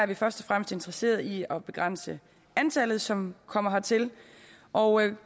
vi først og fremmest interesserede i at begrænse antallet som kommer hertil og